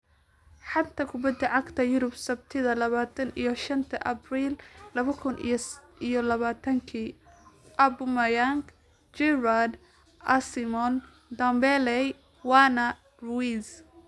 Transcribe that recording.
Xanta kubbada cagta Yurub Sabtida labatan iyo shanta Abril laba kun iyo labatanka: Aubameyang, Giroud, Osimhen, Ndombele, Werner, Ruiz